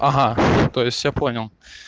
ага то есть я понял